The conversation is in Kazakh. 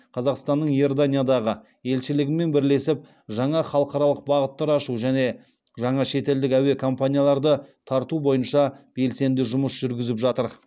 қазақстанның иорданиядағы елшілігімен бірлесіп жаңа халықаралық бағыттар ашу және жаңа шетелдік әуе компанияларды тарту бойынша белсенді жұмыс жүргізіп жатыр